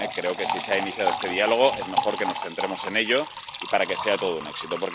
Creo que, si se ha iniciado este diálogo, es mejor que nos centremos en él para que sea todo un éxito.